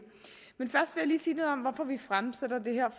jeg lige sige noget om hvorfor vi fremsætter det her